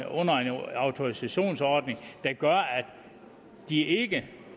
under en autorisationsordning der gør at de ikke